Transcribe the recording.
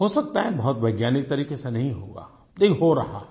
हो सकता है बहुत वैज्ञानिक तरीक़े से नहीं हो रहा लेकिन हो रहा है